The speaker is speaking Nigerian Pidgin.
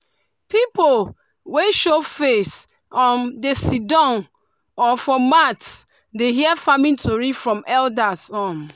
pipu wey show face um dey sidon um for mat dey hear farming tori from elders. um